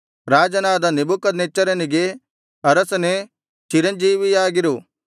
ರಾಜನಾದ ನೆಬೂಕದ್ನೆಚ್ಚರನಿಗೆ ಅರಸನೇ ಚಿರಂಜೀವಿಯಾಗಿರು